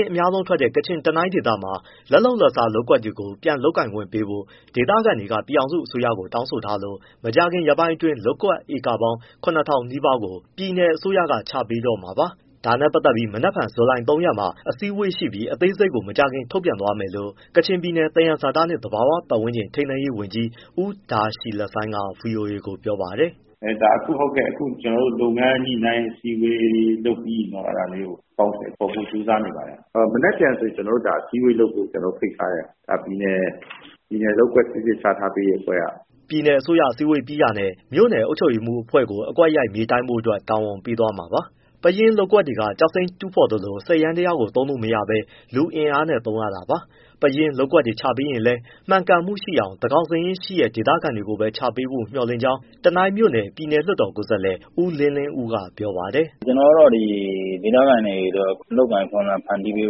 င်းအများဆုံးထွက်တဲ့ ကချင်၊ တနိုင်းဒေသမှာ ပယင်းလက်လုပ်လက်စား လုပ်ကွက်တွေကို ပြန်လုပ်ကိုင်ခွင့်ပေးဖို့ ဒေသခံတွေက ပြည်ထောင်စု အစိုးရကို တောင်းဆိုထားလို့ မကြာခင်ရက်ပိုင်းအတွင်း လုပ်ကွက်ဧကပေါင်း ၇၀၀၀ နီးပါးကို ပြည်နယ်အစိုးရက ပြန်ချပေးတော့မှာပါ။ ဒါနဲ့ပတ်သက်လို့ မနက်ဖြန် မှာ အစည်းဝေးရှိပြီး အသေးစိတ်ကိုမကြာခင်ထုတ်ပြန်မယ်လို့ ကချင်ပြည်နယ် သယံဇာတနှင့် သဘာဝပတ်ဝန်းကျင် ထိန်းသိမ်းရေးဝန်ကြီး ဦးဒါရှီလဆိုင်းက ဗွီအိုအေကိုပြောပါတယ်။ “ဟုတ်ကဲ့ ကျနော်တို့ လုပ်ငန်းညှိနှိုင်းအစည်းအဝေး လုပ်ပြီးရင်တော့ အဲဒါလေးကို အကောင်အထည်ဖော်ဖို့ ကြိုးစားနေပါတယ်။ မနက်ဖြန်ဆိုရင် ကျနော်တို့ အစည်းအဝေးလုပ်ဖို့ ဖိတ်ထားတယ် ပြည်နယ် လုပ်ကွက်ချထားပေးရေး အဖွဲ့က။” ပြည်နယ်အစိုးရအစည်းအဝေးပြီးတာနဲ့ မြို့နယ်အုပ်ချုပ်ရေးမှူးအဖွဲ့ကို အကွက်ရိုက်မြေတိုင်းဖို့အတွက် တာဝန်ပေးသွားမှာပါ။ ပယင်းလုပ်ကွက်တွေက ကျောက်စိမ်းတူးသလို စက်ယန္တာယားကို သုံးလို့မရဘဲ လူအင်အားနဲ့တူးရတာပါ။ ပယင်းလုပ်ကွက်တွေချပေးရင်လည်း မှန်ကန်မှုရှိအောင် သန်းခေါင်စာရင်းရှိတဲ့ ဒေသခံတွေကိုပဲ ချပေးမျှော်လင့်ကြောင်း တနိုင်းမြို့နယ် ပြည်နယ်လွှတ်တော်ကိုယ်စားလှယ် ဦးလင်းလင်းဦးက ပြောပါတယ်။ “ ကျနော်ကတော့ ဒီဒေသခံတွေအတွက် အလုပ်အကိုင်အခွင့်အလမ်း ဖန်တီးပေး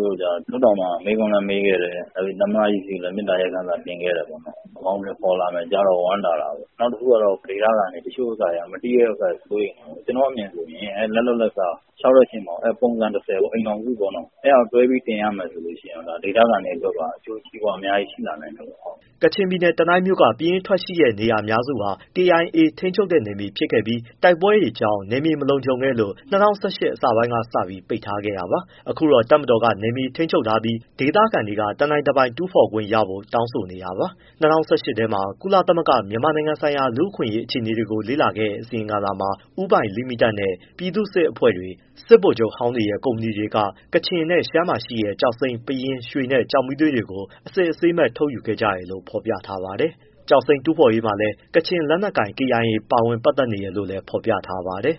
ဖို့အတွက် လွှတ်တော်မှာ မေးခွန်းလည်းမေးခဲ့တယ်။ နောက်ပြီးသမ္မတကြီး ဆီလည်း မေတ္တာရပ်ခံစာတင်ခဲ့တယ်ပေါ့။ အကောင်အထည်ဖော်လာမယ်ကြားတော့ ဝမ်းသာတာပေါ့။ နောက်တခုကဒေသခံတွေ တချို့က မသိတော့ စိုးရိမ်တယ်ပေါ့။ ကျနော့်အမြင်ဆိုရင် လက်လုပ်လက်စား လျှောက်တဲ့အချိန်မှာ အိမ်ထောင်စုပုံစံ ပေါ့ အဲဒါကိုတွဲပြီး တင်ရမယ်ဆိုရင် ဒေသခံတွေအတွက်ပါ အကျိုးစီးပွားအများကြီးရှိလာနိုင်မယ်ပေါ့။” ကချင်ပြည်နယ် တနိုင်းမြို့က ပယင်းထွက်ရှိတဲ့နေရာအများစုဟာ KIA ထိန်းချုပ်နယ်မြေဖြစ်ခဲ့ပြီး တိုက်ပွဲတွေကြောင့်နယ်မြေ မလုံခြုံလို့ ၂၀၁၈ အစပိုင်းကစပြီး ပိတ်ထားခဲ့တာပါ။ အခုတော့ တပ်မတော်က နယ်မြေထိန်းချုပ်ထားပြီး ဒေသခံတွေက တနိုင်တပိုင်တူးဖော်ခွင့်ရဖို့ တောင်းဆိုနေတာပါ။ ၂၀၁၈ ခုနှစ်ထဲ ကုလသမဂ္ဂ မြန်မာနိုင်ငံဆိုင်ရာ လူ့အခွင့်အရေးအခြေအနေကို လေ့လာခဲ့တဲ့အစီရင်ခံစာမှာ ဦးပိုင်လိမိတက်နဲ့ ပြည်သူ့စစ်အဖွဲ့တွေ၊ စစ်ဗိုလ်ချုပ်ဟောင်းတွေရဲ့ ကုမ္ပဏီတွေက ကချင်နဲ့ရှမ်းမှာရှိတဲ့ ကျောက်စိမ်း၊ ပယင်း၊ ရွှေနဲ့ ကျောက်မီးသွေးကို အစစ်အဆေးမဲ့ထုတ်ယူကြတယ်လို့ ဖော်ပြထားပါတယ်။ ကျောက်စိမ်းတူးဖော်ရေးမှာ ကချင်လက်နက်ကိုင် KIA လည်း ပတ်သက်နေတယ်လို့ ဖော်ပြထားပါတယ်။